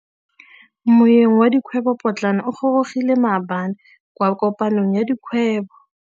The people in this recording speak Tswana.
Moêng wa dikgwêbô pôtlana o gorogile maabane kwa kopanong ya dikgwêbô.